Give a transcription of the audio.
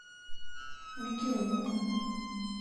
мегиону